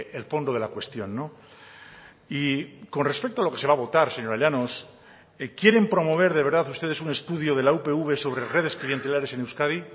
el fondo de la cuestión y con respecto a lo que se va a votar señora llanos quieren promover de verdad ustedes un estudio de la upv sobre redes clientelares en euskadi